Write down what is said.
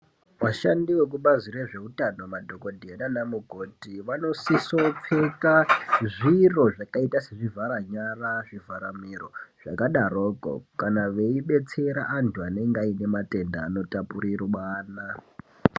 Vashandi vezvekubazi rezveutano ,madhogodheya nanamukoti vanosisopfeka zviro zvakaita sezvivhara nyara, zvivhara miro, zvingadaroko, kana veidetsera vantu vanenge vane matenda anotapuriranwa.